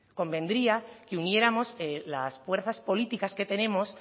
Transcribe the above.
convendría que uniéramos las fuerzas políticas que tenemos